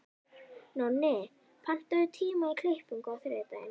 Nonni, pantaðu tíma í klippingu á þriðjudaginn.